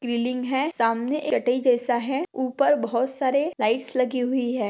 सामने कटाई जैसा है ऊपर बहुत सारे लाइट्स लगी हुई है।